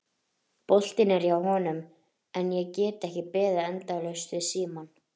Boltinn er hjá honum en ég get ekki beðið endalaust við símann.